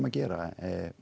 að gera